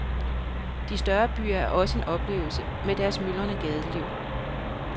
De større byer er også en oplevelse med deres myldrende gadeliv.